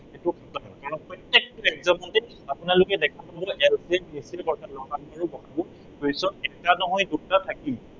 আৰু প্ৰত্য়েকটো exam তে আপোনালোকে দেখা পাব LCMDCM অৰ্থাৎ ল সা গু আৰু গ সা গু ৰ question এটা নহয় দুটা থাকিবই।